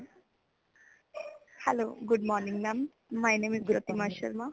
Hello Good Morning mam my name is Pratima Sharma